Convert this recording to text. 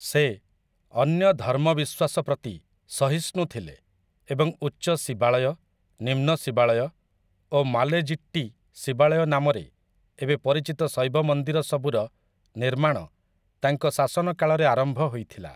ସେ, ଅନ୍ୟ ଧର୍ମବିଶ୍ୱାସ ପ୍ରତି ସହିଷ୍ଣୁ ଥିଲେ ଏବଂ ଉଚ୍ଚ ଶିବାଳୟ, ନିମ୍ନ ଶିବାଳୟ ଓ ମାଲେଜିଟ୍ଟି ଶିବାଳୟ ନାମରେ ଏବେ ପରିଚିତ ଶୈବ ମନ୍ଦିର ସବୁର ନିର୍ମାଣ ତାଙ୍କ ଶାସନକାଳରେ ଆରମ୍ଭ ହୋଇଥିଲା ।